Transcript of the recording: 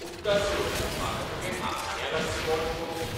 उपकार करून म्हाका तुजें आखाण्या लागचें बोट पळोवंक दी .